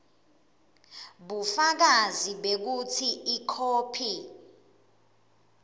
bufakazi bekutsi ikhophi